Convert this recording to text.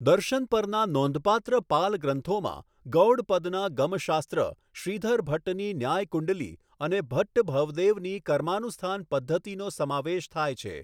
દર્શન પરના નોંધપાત્ર પાલ ગ્રંથોમાં ગૌડપદના ગમ શાસ્ત્ર, શ્રીધર ભટ્ટની ન્યાય કુંડલી, અને ભટ્ટ ભવદેવની કર્માનુસ્થાન પદ્ધતિનો સમાવેશ થાય છે.